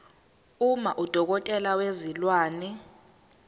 uma udokotela wezilwane